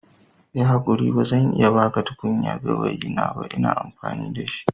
Yi hakuri ba zan iya ba ku tukunyar gawayi na a yanzu ba. Ina amfani da shi.